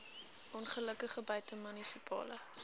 ongelukke buite munisipale